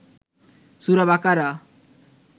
সূরা বাকারা